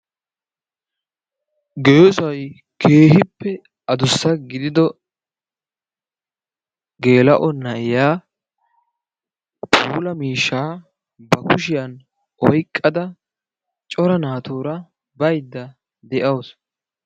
geessay keehippe addussa gidio geella''o naa'iya puula miishsha ba kushiyaan oyqqada cora naatuura baydda de'awus.